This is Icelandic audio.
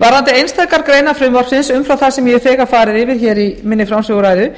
varðandi einstakar greinar frumvarpsins umfram það sem ég hef þegar farið yfir í minni framsöguræðu